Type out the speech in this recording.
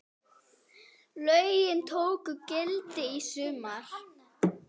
Lögin tóku gildi í sumar.